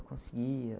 Conseguia.